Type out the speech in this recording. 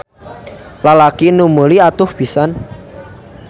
Lalaki nu meuli atoh pisan.